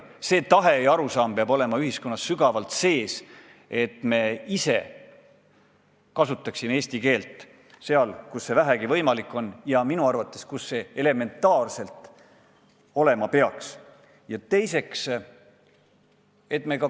Tahe kasutada eesti keelt ja arusaam, et me kasutaksime eesti keelt seal, kus see vähegi võimalik on ja kus see elementaarselt nii olema peaks, peab olema ühiskonnas sügavalt sees.